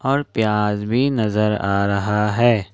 और प्याज भी नजर आ रहा है।